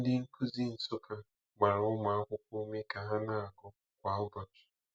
Ndị nkuzi Nsukka gbara ụmụ akwụkwọ ume ka ha na-agụ kwa ụbọchị.